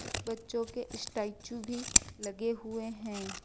कुछ बच्चों के स्टैचू भी लगे हुए हैं।